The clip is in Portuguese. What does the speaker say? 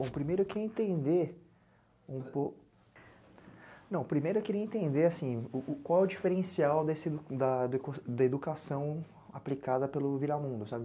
Bom, primeiro eu queria entender um pouco... Não, primeiro eu queria entender, assim, o, qual é o diferencial desse, da... da educação aplicada pelo Viramundo, sabe?